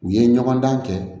U ye ɲɔgɔn dan kɛ